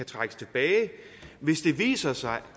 trækkes tilbage hvis det viser sig